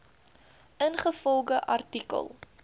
ingevolge artikel